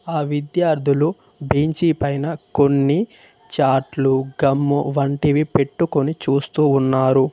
ఆ విద్యార్థులు బెంచి పైన కొన్ని చాట్లు గమ్ము వంటివి పెట్టుకుని చూస్తూ ఉన్నారు.